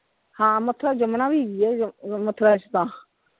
ਹਾਂ ਮਥੁਰਾ ਚ ਯਮੁਨਾ ਵੀ ਹੈਗੀ ਹੈ, ਮਥੁਰਾ ਚ ਤਾਂ।